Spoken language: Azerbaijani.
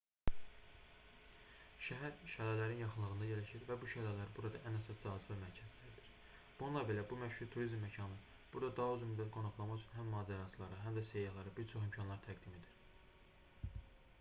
şəhər şəlalələrin yaxınlığında yerləşir və bu şəlalər burada ən əsas cazibə mərkəzləridir bununla belə bu məşhur turizm məkanı burada daha uzun müddət qonaqlamaq üçün həm macəraçılara həm də səyyahlara bir çox imkanlar təqdim edir